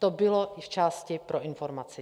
To bylo i v části pro informaci.